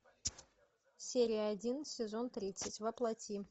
серия один сезон тридцать во плоти